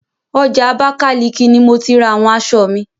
Ọjà Abákáliki ni mo ti ra àwọn aṣọ mi.